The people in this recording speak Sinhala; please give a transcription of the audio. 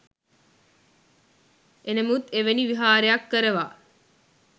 එනමුත් එවැනි විහාරයක් කරවා